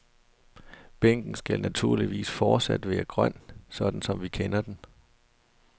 Bænken skal naturligvis fortsat være grøn, sådan som vi kender den.